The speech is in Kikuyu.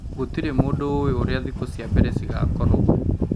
Gũtirĩ mũndũ ũũĩ ũrĩa thikũ cia mbere cigakorwo